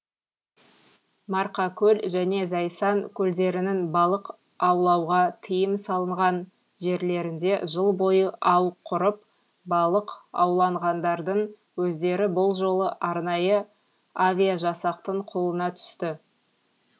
марқакөл және зайсан көлдерінің балық аулауға тыйым салынған жерлерінде жыл бойы ау құрып балық аулағандардың өздері бұл жолы арнайы авиажасақтың қолына түсті